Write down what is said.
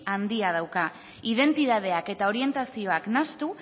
handia dauka identitateak eta orientazioak nahastu